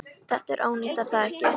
Þetta er ónýtt, er það ekki?